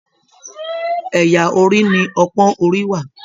Ẹyà orí ni ọpọn orí wà.